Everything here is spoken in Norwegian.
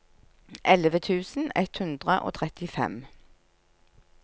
elleve tusen ett hundre og trettifem